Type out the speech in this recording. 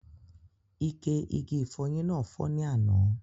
Ike igi ifọyín náà fọ́ ni àná